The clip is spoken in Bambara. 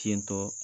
Tentɔ